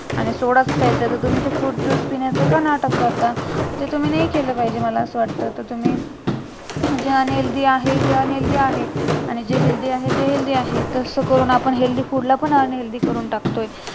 आणि जर सोडाच प्यायचा आहे तर तुम्ही fruitjuice पिण्याचं का नाटक करता ते तुम्ही नाही केलं पाहिजे मला असं वाटत कि तुम्ही जे unhealthy आहे ते unhealthy आहे आणि जे healthy आहे ते healthy आहे तर असं करून आपण healthy food ला पण आपण unhealthy करून टाकतोय